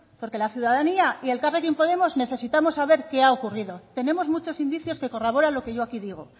porque la ciudadanía y elkarrekin podemos necesitamos saber qué ha ocurrido tenemos muchos indicios que corroboran lo que yo aquí digo